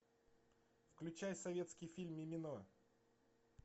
включай советский фильм мимино